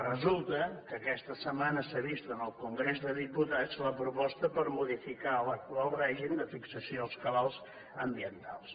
resulta que aquesta setmana s’ha vist en el congrés dels diputats la proposta per modificar l’actual règim de fixació als cabals ambientals